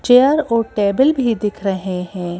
Chair और table भी दिख रहे हैं।